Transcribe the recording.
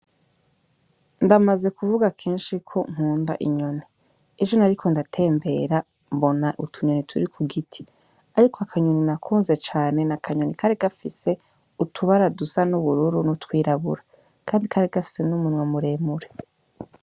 Ndamaze kuvuga kenshi ko nkunda inyoni ejo nari ko ndatembera mbona utunyoni turi ku giti, ariko akanyoni nakunze cane na akanyoni kare gafise utubaradusa n'ubururu no twirabura, kandi kare gafise n'umunwe muremure.